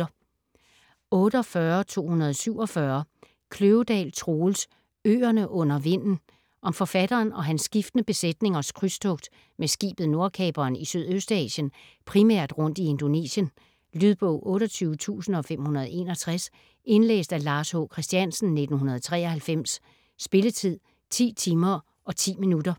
48.247 Kløvedal, Troels: Øerne under vinden Om forfatteren og hans skiftende besætningers krydstogt med skibet Nordkaperen i Sydøstasien, primært rundt i Indonesien. Lydbog 28561 Indlæst af Lars H. Christiansen, 1993. Spilletid: 10 timer, 10 minutter.